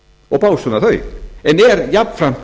og básúnar þau en er jafnframt